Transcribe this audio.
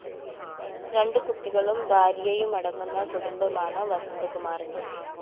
രണ്ടുകുട്ടികളും ഭാര്യയുമടങ്ങുന്ന കുടുംബമാണ് വസന്തകുമാറിന്